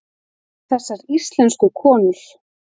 Þessar íslensku konur!